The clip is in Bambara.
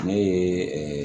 Ne ye